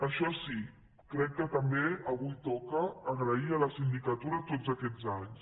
això sí crec que també avui toca agrair a la sindicatura tots aquests anys